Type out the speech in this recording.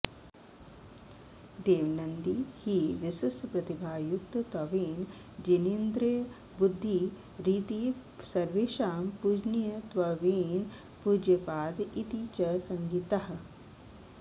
देवनन्दी हि विशिष्टप्रतिभायुक्तत्वेन जिनेन्द्रबुद्धिरिति सर्वेषां पूजनीयत्वेन पूज्यपाद इति च संज्ञितः